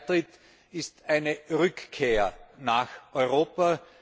Dieser Beitritt ist eine Rückkehr nach Europa.